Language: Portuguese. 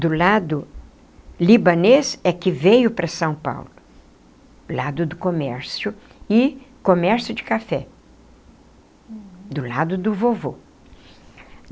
do lado libanês é que veio para São Paulo, lado do comércio, e comércio de café, do lado do vovô.